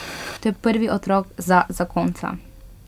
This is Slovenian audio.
To je prvi otrok za zakonca.